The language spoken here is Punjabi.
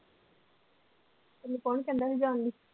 ਤੈਨੂੰ ਕੋਣ ਕਹਿੰਦਾ ਸੀ ਜਾਣ ਲਈ।